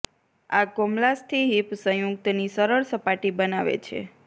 આ કોમલાસ્થિ હિપ સંયુક્ત ની સરળ સપાટી બનાવે છે